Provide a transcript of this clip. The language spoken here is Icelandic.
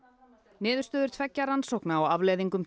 niðurstöður tveggja rannsókna á afleiðingum